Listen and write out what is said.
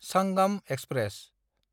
Sangam express